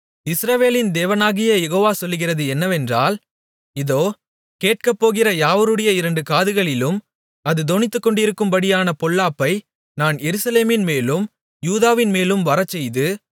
இஸ்ரவேலின் தேவனாகிய யெகோவ சொல்லுகிறது என்னவென்றால் இதோ கேட்கப்போகிற யாவருடைய இரண்டு காதுகளிலும் அது தொனித்துக்கொண்டிருக்கும்படியான பொல்லாப்பை நான் எருசலேமின்மேலும் யூதாவின்மேலும் வரச்செய்து